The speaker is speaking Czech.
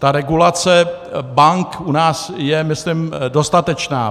Ta regulace bank u nás je myslím dostatečná.